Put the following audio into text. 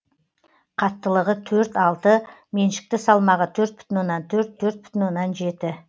қаттылығы төрт алты меншікті салмағы төрт бүтін оннан төрт төрт бүтін оннан жеті